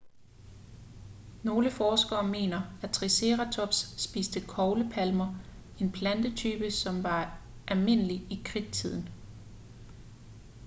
nogle forskere mener at triceratops spiste koglepalmer en plantetype som var almindelig i kridttiden